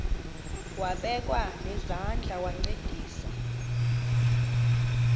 wabekwa nezandls wancedisa